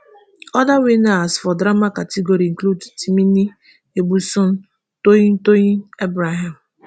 oda winners for drama category include timini egbuson toyin toyin abraham